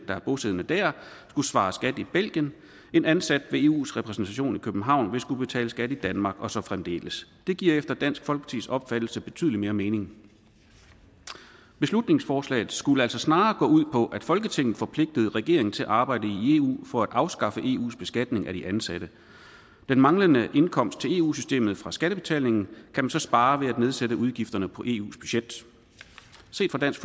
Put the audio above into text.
der er bosiddende der skulle svare skat i belgien en ansat ved eus repræsentation i københavn vil skulle betale skat i danmark og så fremdeles det giver efter dansk folkepartis opfattelse betydelig mere mening beslutningsforslaget skulle altså snarere gå ud på at folketinget forpligtede regeringen til at arbejde i eu for at afskaffe eus beskatning af de ansatte den manglende indkomst til eu systemet fra skattebetalingen kan man så spare ved at nedsætte udgifterne på eus budget set fra dansk